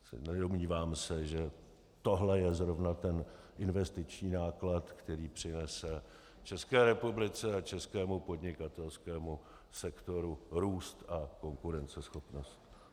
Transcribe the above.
Nedomnívám se, že tohle je zrovna ten investiční náklad, který přinese České republice a českému podnikatelskému sektoru růst a konkurenceschopnost.